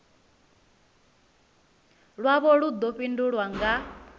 lwavho lu ḓo fhindulwa nga